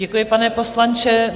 Děkuji, pane poslanče.